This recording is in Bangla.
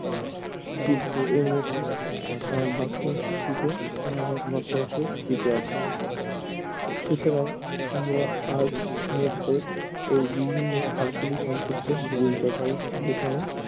শিল্প সুতরাং আমরা আজ মদ্ধ ও বিভিন্ন ভাগ গুলি সম্পর্কে